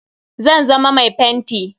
Zan zama mai fenti.